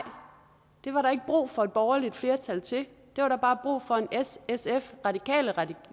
det var der ikke brug for et borgerligt flertal til der var bare brug for en s sf